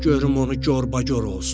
Görüm onu gorbagor olsun.